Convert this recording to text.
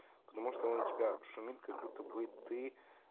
потому что он у тебя шумит как будто бы ты